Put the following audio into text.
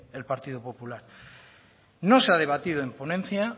el partido popular no se ha debatido en ponencia